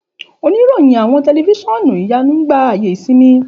Òníròyìn àwọn tẹlifiṣionu ìyánú gba ayé ìsinmi.